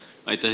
Aitäh!